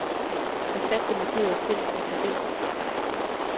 Erstat det markerede felt med tabel.